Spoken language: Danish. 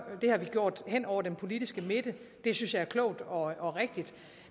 det har vi gjort hen over den politiske midte og det synes jeg er klogt og og rigtigt